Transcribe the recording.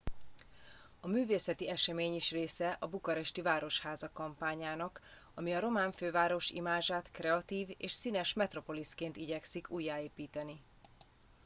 a művészeti esemény is része a bukaresti városháza kampányának ami a román főváros imázsát kreatív és színes metropoliszként igyekszik újjáépíteni